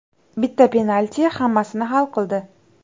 Bitta penalti hammasini hal qildi.